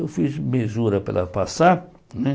Eu fiz mesura para ela passar né.